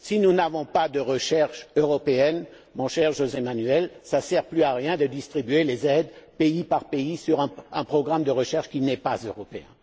Si nous n'avons pas de recherche européenne, cher José Manuel, cela ne sert plus à rien de distribuer les aides pays par pays sur un programme de recherche qui n'est pas européen.